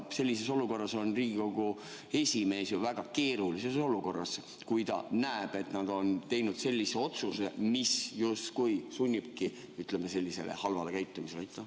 Siis on Riigikogu esimees ju väga keerulises olukorras, kui ta näeb, et nad on teinud sellise otsuse, mis justkui sunnibki, ütleme, sellisele halvale käitumisele.